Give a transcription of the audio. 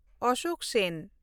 ᱚᱥᱳᱠ ᱥᱮᱱ